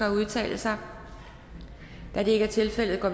at udtale sig det er ikke tilfældet og